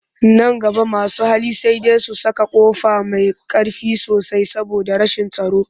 Nan gaba masu hali sai dai su saka ƙofa mai ƙ arfi sosai saboda rashin tsaro